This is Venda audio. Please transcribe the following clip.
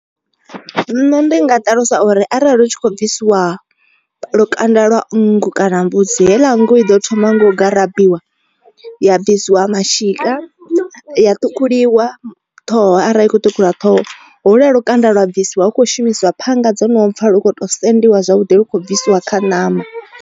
Nṋe ndi nga ṱalusa uri arali hu tshi khou bvisiwa lukanda lwa nngu kana mbudzi heiḽa nngu i ḓo thoma nga u garabiwa ya bvisiwa mashika ya ṱhukhuliwa ṱhoho. Arali i kho ṱhukhuwa ṱhoho holwu ya lukanda lwa bvisiwa hu khou shumisiwa phanga dzo no pfha lu kho to sendiwa zwavhuḓi lu khou bvisiwa kha ṋama.